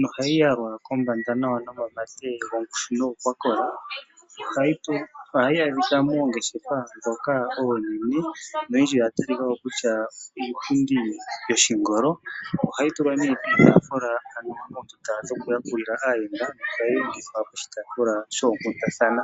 nohayi yalwa kombanda nawa nomamate gongushu nogo kwakola. Ohayi adhika moongeshefa ndhoka oonene noyindji oya talika ko kutya iipundi yoshingolo. Oha yi tulwa nee piitaafula ano mondunda dhokuyakulila aayenda oshowo tayi tulwa piitaafula yoonkundathana.